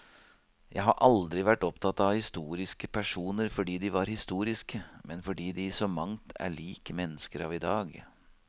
Jeg har aldri vært opptatt av historiske personer fordi de var historiske, men fordi de i så mangt er lik mennesker av i dag.